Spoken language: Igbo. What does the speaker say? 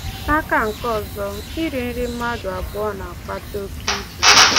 N’aka nke ọzọ, iri nri mmadụ abụọ na-akpata oke ibu.